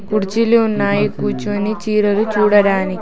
కుర్చీలు ఉన్నాయి కూర్చుని చీరలు చూడడానికి.